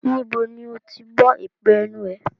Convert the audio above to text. Níbo ni ó ti gbọ́ èpè ẹnu ẹ?